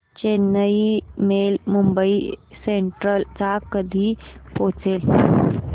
Chennai mail Mumbai central ला कधी पोहचेल